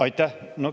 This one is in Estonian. Aitäh!